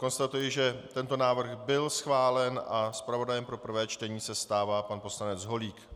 Konstatuji, že tento návrh byl schválen a zpravodajem pro prvé čtení se stává pan poslanec Holík.